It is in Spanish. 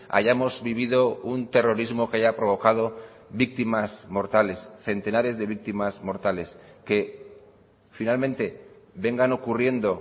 hayamos vivido un terrorismo que haya provocado víctimas mortales centenares de víctimas mortales que finalmente vengan ocurriendo